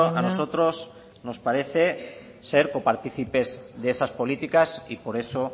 a nosotros nos parece ser coparticipes de esas políticas y por eso